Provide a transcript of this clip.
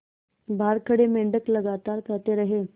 बाहर खड़े मेंढक लगातार कहते रहे